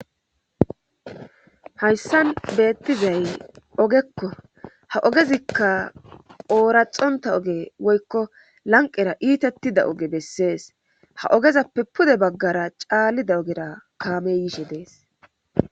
Hayssan beettizay ogekko ha ogezikka ooraxonta oge woykko lanqera iitattida oge bessees ha ogezappe pude baggara caallida ogera kaame yiishe dees